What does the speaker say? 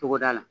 Togoda la